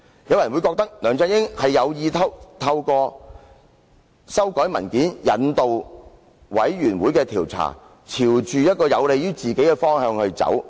有人或會認為，梁振英有意透過修改文件，引導專責委員會的調查朝有利於自己的方向走。